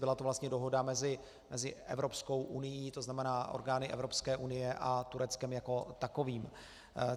Byla to vlastně dohoda mezi Evropskou unií, to znamená orgány Evropské unie, a Tureckem jako takovým.